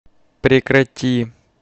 прекрати